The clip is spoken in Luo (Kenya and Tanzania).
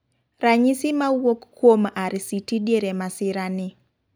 ranyisi mawuok kuom RCT diere masira ni